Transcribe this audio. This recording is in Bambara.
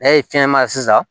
N'a ye fiɲɛ ma sisan